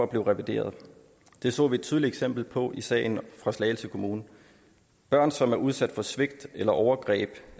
bliver revideret det så vi et tydeligt eksempel på i sagen fra slagelse kommune børn som er udsat for svigt eller overgreb